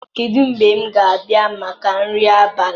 Kedu mgbe m ga-abịa maka nri abalị